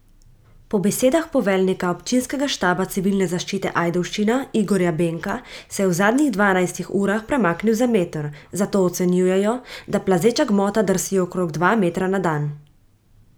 Po besedah poveljnika občinskega štaba Civilne zaščite Ajdovščina Igorja Benka se je v zadnjih dvanajstih urah premaknil za meter, zato ocenjujejo, da plazeča gmota drsi okrog dva metra na dan.